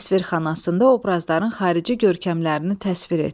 Təsvirxanasında obrazların xarici görkəmlərini təsvir et.